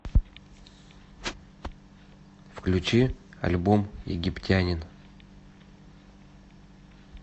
включи альбом египтянин